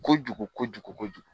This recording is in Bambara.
Kojugu kojugu kojugu